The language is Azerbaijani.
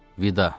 Vida.